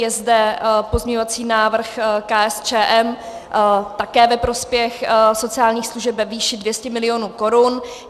Je zde pozměňovací návrh KSČM také ve prospěch sociálních služeb ve výši 200 mil. korun.